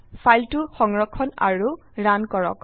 ফাইলটি সংৰক্ষণ আৰু ৰান কৰক